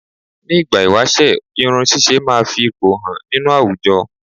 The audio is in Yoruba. Ni ìgbà ìwáṣẹ̀ irun ṣíṣe máa fi ipò hàn nínú àwùjọ